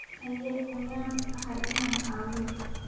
Haye, yaan ahay inaan caawiyo?